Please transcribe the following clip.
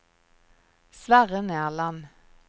Sverre Nerland